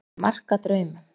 Er mark að draumum?